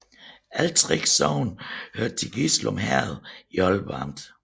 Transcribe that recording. Alle 3 sogne hørte til Gislum Herred i Aalborg Amt